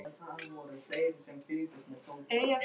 Lítið á gripina, drengir! sagði Valdimar.